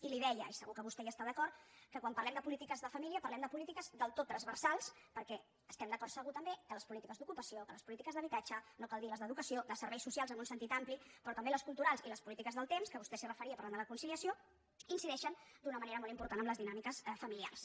i li deia i segur que vostè hi està d’acord que quan parlem de polítiques de família parlem de polítiques del tot transversals perquè estem d’acord segur també que les polítiques d’ocupació que les polítiques d’habitatge no cal dir les d’educació de serveis socials en un sentit ampli però també les culturals i les polítiques del temps que vostè s’hi referia parlant de la conciliació incideixen d’una manera molt important en les dinàmiques familiars